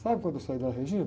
Sabe quando eu saí da?